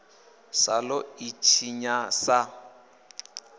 sa ḓo ḽi tshinya sa